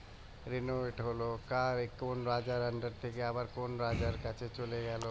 হলো কার এ কোন রাজার থেকে আবার কোন রাজার কাছে চলে গেল